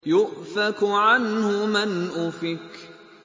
يُؤْفَكُ عَنْهُ مَنْ أُفِكَ